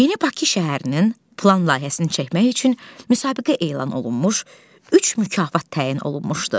Yeni Bakı şəhərinin plan layihəsini çəkmək üçün müsabiqə elan olunmuş, üç mükafat təyin olunmuşdu.